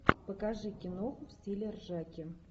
покажи киноху в стиле ржаки